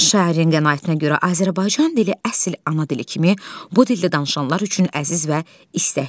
Şairin qənaətinə görə Azərbaycan dili əsl ana dili kimi bu dildə danışanlar üçün əziz və istəklidir.